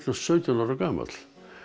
sautján ára gamall